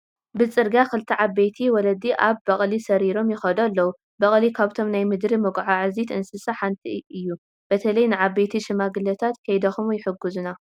ብፅርግያ ክልተ ዓበይቲ ወለዲ ኣብ በቕሊ ሰሪሮም ይኸዱ ኣለው፡፡ በቕሊ ካብቶም ናይ ምድሪ መጓዓዓዝቲ አንስሳታት ሓደ እዩ፡፡ በተለይ ንዓበይቲ ሽማግለታት ከይደኽሙ ይሕግዙና፡፡